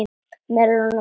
Melónur bara!